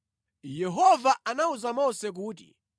Yehova anawuza Mose kuti,